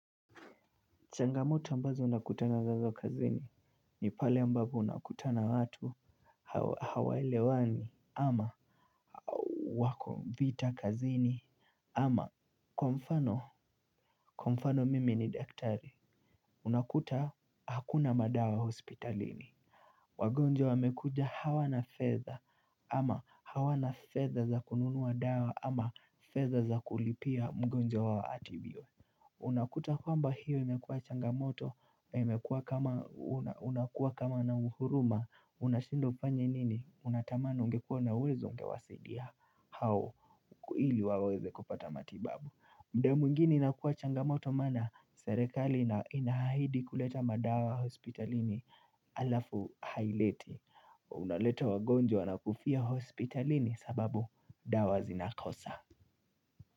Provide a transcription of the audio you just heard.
Changamoto ambazo nakutana nazo kazini ni pale ambapo nakutana na watu au hawaelewani ama wako vita kazini ama kwa mfano, kwa mfano mimi ni daktari, unakuta hakuna madawa hospitalini. Wagonjwa wamekuja hawana fedha ama hawana fedha za kununua dawa ama fedha za kulipia mgonjwa wao atibiwe. Unakuta kwamba hiyo imekua changamoto, imekua kama huna uhuruma, unashindwa ufanye nini, unatamani ungekua na uwezo ungewasidia hao ili waweze kupata matibabu muda mwingine inakua changamoto maana serikali inaahidi kuleta madawa hospitalini alafu haileti unaleta wagonjwa wanakufia hospitalini sababu dawa zinakosa.